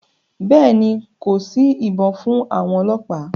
Bẹ́ẹ̀ ni, kò sí ibọn fún àwọn ọlọ́pàá.